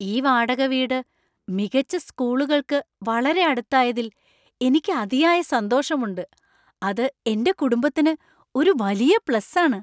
ഈ വാടക വീട് മികച്ച സ്കൂളുകൾക്ക് വളരെ അടുത്തായതിൽ എനിക്ക് അതിയായ സന്തോഷമുണ്ട്. അത് എന്‍റെ കുടുംബത്തിന് ഒരു വലിയ പ്ലസ് ആണ്.